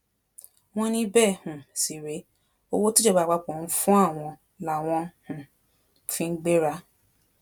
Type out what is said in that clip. wọn ní bẹẹ um sì rèé owó tíjọba àpapọ ń fún àwọn làwọn um fi ń gbéra